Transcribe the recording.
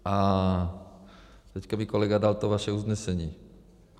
A teďka mi kolega dal to vaše usnesení.